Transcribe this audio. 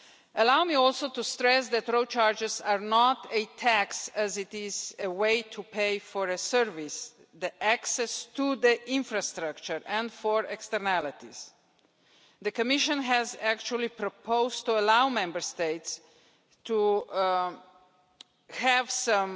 Allow me also to stress that road charges are not a tax, as this is a way to pay for a service access to the infrastructure and for externalities. The Commission has actually proposed allowing Member States to have some